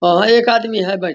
और एक आदमी है बैठा --